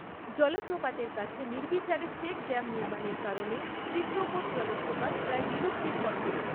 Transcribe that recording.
জলপ্রপাতের কাছে নির্বিচারে চেক ড্যাম নির্মাণের কারণে চিত্রকোট জলপ্রপাত প্রায় বিলুপ্তির পথে।